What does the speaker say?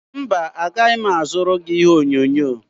mba, agaghị m azụrụ gị ihe onyonyo